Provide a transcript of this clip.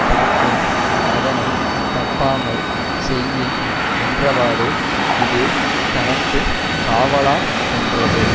காக்கும் அதனை தப்பாமல் செய்யின் என்றவாறு இது தனக்கு காவலாம் என்றது